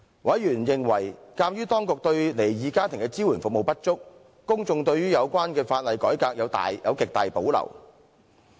委員認為，鑒於當局對離異家庭的服務支援不足，公眾對於有關的法律改革有極大保留。